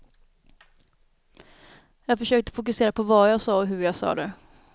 Jag försökte fokusera på vad jag sa och hur jag sa det.